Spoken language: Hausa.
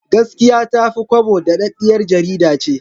Gaskiya Ta fi Kwabo daɗaɗɗiyar jarida ce.